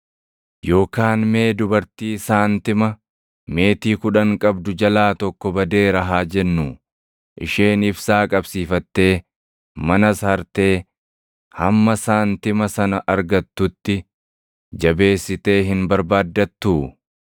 “Yookaan mee dubartii saantima meetii kudhan qabdu jalaa tokko badeera haa jennuu; isheen ibsaa qabsiifattee, manas hartee hamma saantima sana argatutti jabeessitee hin barbaaddattuu?